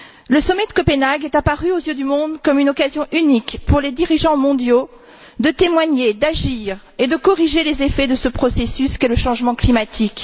La Conférence de Copenhague est apparue aux yeux du monde comme une occasion unique, pour les dirigeants mondiaux, de témoigner, d'agir et de corriger les effets de ce processus qu'est le changement climatique.